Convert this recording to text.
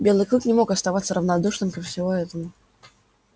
белый клык не мог оставаться равнодушным ко всему этому